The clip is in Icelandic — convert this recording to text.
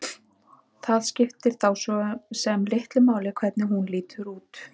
Það skiptir þá svo sem litlu máli hvernig hún lítur út.